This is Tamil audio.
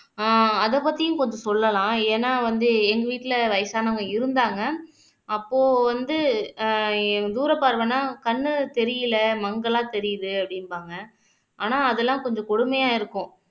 அஹ் அதைப் பத்தியும் கொஞ்சம் சொல்லலாம் ஏன்னா வந்து எங்க வீட்டுல வயசானவங்க இருந்தாங்க அப்போ வந்து ஆஹ் தூரப்பார்வைன்னா கண்ணு தெரியலே மங்கலா தெரியுது அப்படிம்பாங்க ஆனா அதெல்லாம் கொஞ்சம் கொடுமையா இருக்கும்